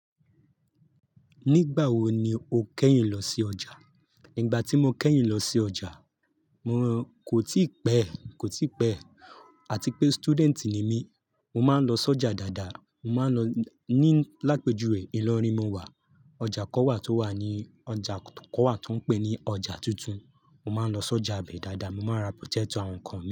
Nígbà wo ni o kẹ́yìn lọ sí ọjà? Nígbà tí mo kẹ́yìn lọ sí ọjà, mo kò tíi pẹ́, kò tií pẹ́. Àti pé student ni mí, mo máa ń lọ sí ọjà dáadáa. Mo máa ń lọ ní làpéjùwe ìlọrin mo wà. Ọjà kan wà tó wà ní, ọjà kan wà tan ń pé ní ọjà tuntun. Mo máa ń lọ sí ọjà ibẹ́ dáadáa, mo máa n ra potato, àwọn nǹkan mii.